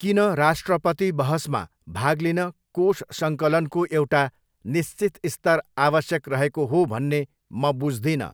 किन राष्ट्रपति बहसमा भाग लिन कोष सङ्कलनको एउटा निश्चित स्तर आवश्यक रहेको हो भन्ने म बुझ्दिनँ।